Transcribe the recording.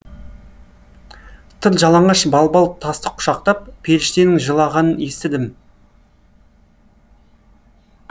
тыр жалаңаш балбал тасты құшақтап періштенің жылағанын естідім